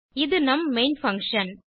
இது நம் main function